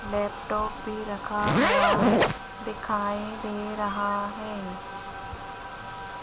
Laptop भी रखा हुआ दिखाई दे रहा है।